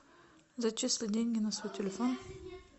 зачислить деньги на свой телефон